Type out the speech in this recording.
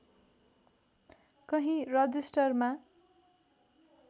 कही रजिस्टरमा